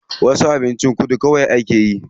Wasu kuma abincin kudu kawai akeyi.